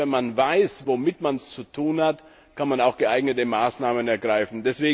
Denn erst, wenn man weiß, womit man es zu tun hat, kann man auch geeignete Maßnahmen ergreifen.